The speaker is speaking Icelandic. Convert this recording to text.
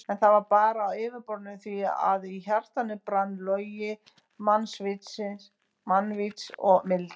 En það var bara á yfirborðinu því að í hjartanu brann logi mannvits og mildi.